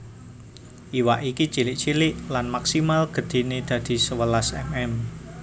Iwak iki cilik cilik lan maksimal gedhéné dadi sewelas mm